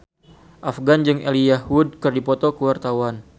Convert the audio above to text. Afgan jeung Elijah Wood keur dipoto ku wartawan